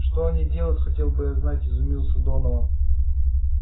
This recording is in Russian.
что они делают хотел бы я знать изумился донован